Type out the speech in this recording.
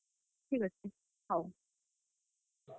ଠିକ୍ ଅଛେ ।